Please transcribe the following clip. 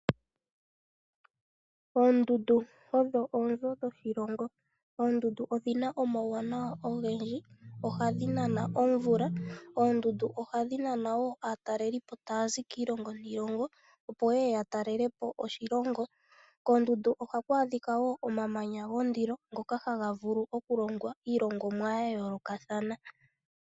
Oondundu odho oonzo dhoshilongo .Oondundu odhina omawuwanawa ogendji oshoka ohadhi nana omvula. Oondundu ohadhi nana woo aatalelipo tayazi kiilongo niilongo opo yeye ya talelepo oshilongo. koondundu ohaku adhika woo omamanya gondilo ngoka haga vulu okulongwa iilongomwa ya yoolokathana.